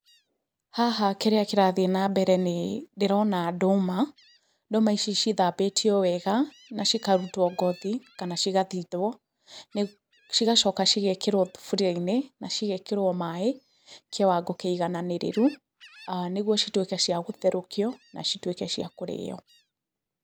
Haha kĩrĩa kĩrathiĩ na mbere nĩ ndĩrona ndũma, ndũma ici cithambĩtio wega na cikarutwo ngothi kana cigathithwo cigacoka cigekĩrwo thuburia-inĩ, na cigekĩrwo maaĩ kĩwango kĩiganĩrĩru, nĩguo citũĩka cia gũtherokio na citũĩke cia kũrĩo.